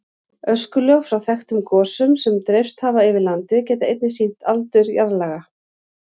Öskulög frá þekktum gosum sem dreifst hafa yfir land geta einnig sýnt aldur jarðlaga.